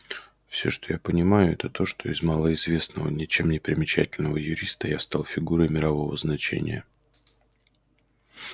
всё что я понимаю это то что из малоизвестного ничем не примечательного юриста я стал фигурой мирового значения